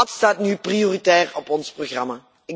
Dat staat nu prioritair op ons programma.